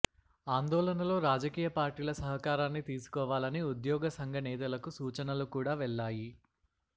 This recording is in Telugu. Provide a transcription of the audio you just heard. ఆందోళనలో రాజకీయ పార్టీల సహకారాన్ని తీసుకోవాలని ఉద్యోగ సంఘ నేతలకు సూచనలు కూడా వెళ్ళాయి